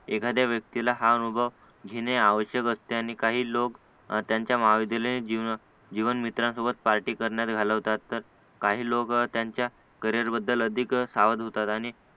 एखाद्या व्यक्तीला हा अनुभव घेणे आवश्यक असते आणि काही लोक त्यांच्या महाविद्यालयीन जीवन जीवन मित्रांसोबत पार्टी करण्यात घालवतात तर काही लोक त्यांच्या करिअरबद्दल अधिक सावध होतात आणि